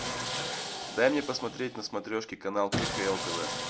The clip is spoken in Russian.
дай мне посмотреть на смотрешке канал кхл тв